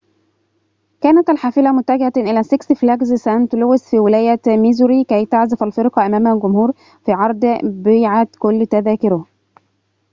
كانت الحافلة متجهة إلى سيكس فلاجز سانت لويس في ولاية ميزوري كي تعزف الفرقة أمام جمهور في عرض بيعت كل تذاكره